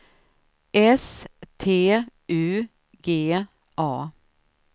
S T U G A